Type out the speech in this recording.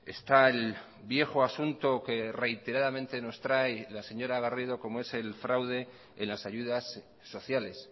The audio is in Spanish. está el viejo asunto que reiteradamente nos trae la señora garrido como es el fraude en las ayudas sociales